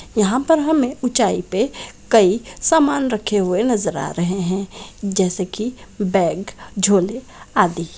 यहाँ पर हमें ऊँचाई पे कई समान रखे नजर आ रहे हैं जैसे की बैग झोले आदि।